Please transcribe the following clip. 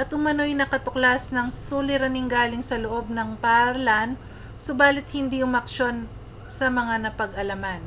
at umanoy nakatuklas ng suliraning galing sa loob ng paaralan subalit hindi umaksyon sa mga napag-alaman